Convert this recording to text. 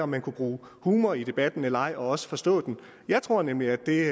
man kunne bruge humor i debatten eller ej og også forstå den jeg tror nemlig at det